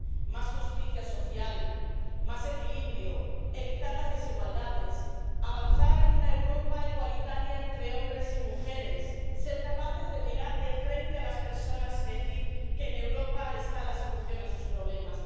Más justicia social, más equilibrio, evitar las desigualdades, avanzar en una Europa igualitaria entre hombres y mujeres, ser capaces de mirar de frente a las personas y decir que en Europa está la solución a sus problemas.